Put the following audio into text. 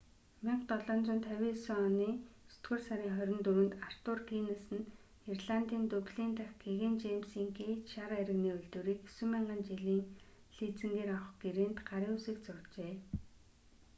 1759 оны есдүгээр сарын 24-нд артур гиннес нь ирландын дублин дахь гэгээн жэймсийн гэйт шар айрагны үйлдвэрийг 9,000 жилийн лизингээр авах гэрээнд гарын үсэг зуржээ